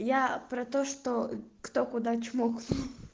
я про то что кто куда чмокнул